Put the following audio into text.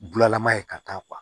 Bulalama ye ka taa